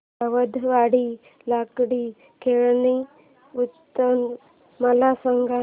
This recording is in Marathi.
सावंतवाडी लाकडी खेळणी उत्सव मला सांग